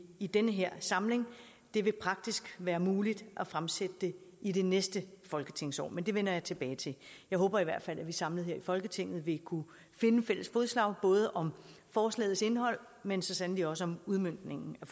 i den her samling det vil praktisk være muligt at fremsætte det i det næste folketingsår men det vender jeg tilbage til jeg håber i hvert fald at vi samlet her i folketinget vil kunne finde fælles fodslag både om forslagets indhold men så sandelig også om udmøntningen af